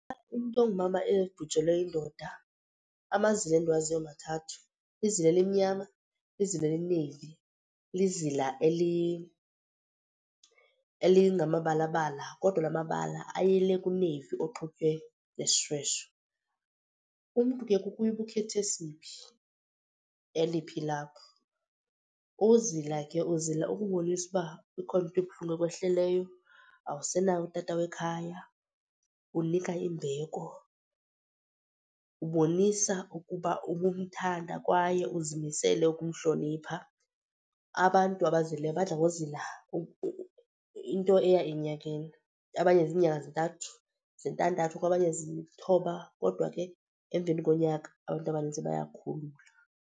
Umntu ongumama ebhujelwe yindoda, amazila endiwaziyo mathathu. Lizila elimnyama, lizila elineyivi, lizila elingamabalabala kodwa la mabala ayile kuneyivi oxutywe nesishweshwe. Umntu ke kukuye uba ukhetha esiphi, eliphi ilaphu. Ukuzila ke uzila ukubonisa uba ikhona into ebuhlungu ekwehleleyo, awusenawo utata wekhaya, unika imbeko. Ubonisa ukuba ubumthanda kwaye uzimisele ukumhlonipha. Abantu abazilileyo badla ngozila into eya enyakeni, abanye ziinyanga zintathu zintandathu kwabanye zilithoba kodwa ke emveni konyaka abantu abaninzi bayakhulula.